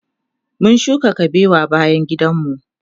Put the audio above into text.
mun shuka kabewa bayan gidan mu